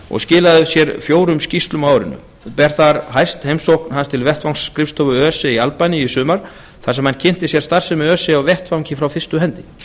og skilaði af sér fjórum skýrslum á árinu ber þar hæst heimsókn hans til vettvangsskrifstofu öse í albaníu í sumar þar sem hann kynnti sér starfsemi öse á vettvangi frá fyrstu hendi